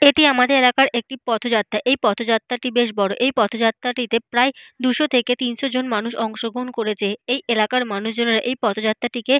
এটি আমাদের এলাকার একটি পথযাত্রা। এই পথযাত্রাটি বেশ বড়। এই পথযাত্রাটিতে প্রায় দুশো থেকে তিনশো জন মানুষ অংশগ্রহন করেছে। এই এলাকার মানুষজনেরা এই পথযাত্রাটিকে --